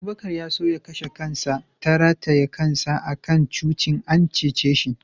Abubakar ya so ya kashe kansa ta rataye kansa a kan tushin, an cice shi.